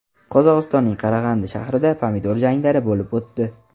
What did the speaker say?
Qozog‘istonning Qarag‘andi shahrida pomidor janglari bo‘lib o‘tdi.